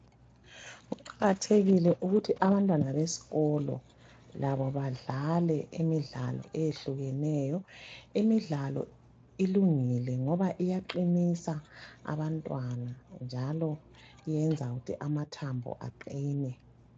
Kuqakathekile ukuthi abantwana beskolo labo badlale imidlalo eyehlukeneyo. Imidlalo ilungile ngoba iyaqinisa abantwana njalo iyenza ukuthi amathambo aqine.